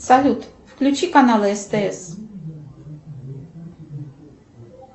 салют включи канал стс